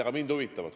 Aga mind huvitavad.